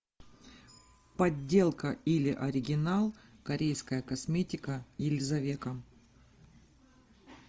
подделка или оригинал корейская косметика елизавека